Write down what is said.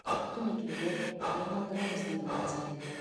құтты мекенге айналдырамыз деді оразалин